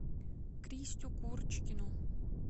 кристю курочкину